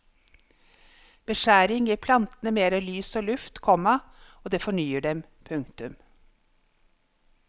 Beskjæring gir plantene mer lys og luft, komma og det fornyer dem. punktum